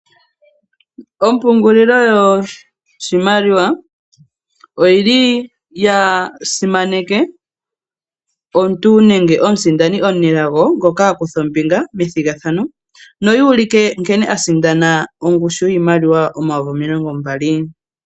Ompungulilo yoshimaliwa oyili yasimaneke omuntu nenge omusindani omunelago ngoka akutha ombinga methigathano noyuuluke nkene a sindana ongushu yiimaliwa omayovi omilongo mbali.